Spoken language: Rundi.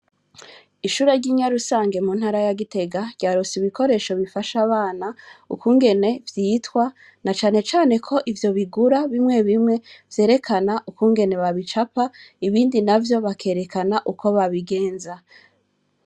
Ishure ry'i Nyarusange mu ntara ya Gitega ryaronse ibikoresho bifasha abana ukungene vyitwa na cane cane ko ivyo bigura bimwe bimwe vyerekana ukungene babicapa, ibindi navyo bikerekana ukuntu babigenza.